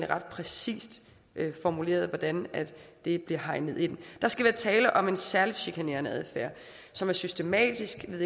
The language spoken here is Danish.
ret præcist formuleret hvordan det bliver hegnet ind der skal være tale om en særligt chikanerende adfærd som er systematisk ved